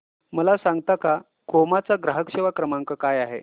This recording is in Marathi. मला सांगता का क्रोमा चा ग्राहक सेवा क्रमांक काय आहे